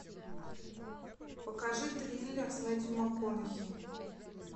покажи триллер с мэттью макконахи